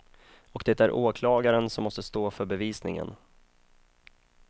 Och det är åklagaren som måste stå för bevisningen.